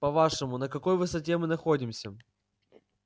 по-вашему на какой высоте мы находимся